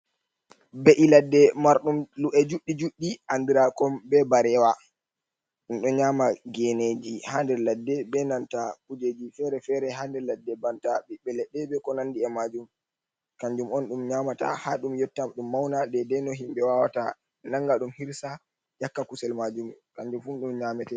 Ɓe’ iladde marɗum lu’e juɗɗi juɗɗi andirakom be bareewa. Ɗum ɗo nyaama geneeji haa nder ladde ,be nanta kujeji fere-fere haa nder ladde banta ɓiɓɓe leɗɗe, ɓe ko nanndi e maajum kanjum on, ɗum nyamata haa ɗum yotta ɗum mawna. Deydey no himɓe wawata nannga ɗum hirsa ƴakka kusel maajum kanjum fu ɗum nyameta.